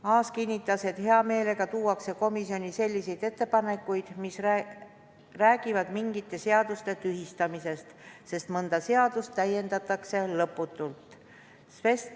Aas kinnitas, et hea meelega tuuakse komisjoni selliseid ettepanekuid, mis räägivad mingite seaduste tühistamisest, sest mõnda seadust täiendatakse lõputult.